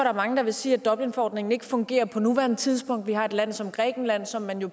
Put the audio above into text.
er mange der vil sige at dublinforordningen ikke fungerer på nuværende tidspunkt vi har et land som grækenland som man jo